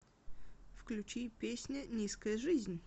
включи песня низкая жизнь